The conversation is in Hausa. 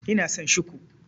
Ina son Shiku.